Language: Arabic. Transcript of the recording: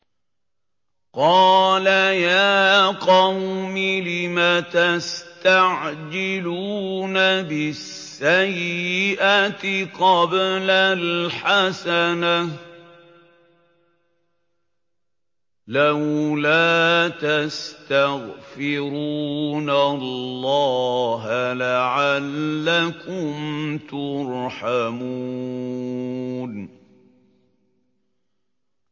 قَالَ يَا قَوْمِ لِمَ تَسْتَعْجِلُونَ بِالسَّيِّئَةِ قَبْلَ الْحَسَنَةِ ۖ لَوْلَا تَسْتَغْفِرُونَ اللَّهَ لَعَلَّكُمْ تُرْحَمُونَ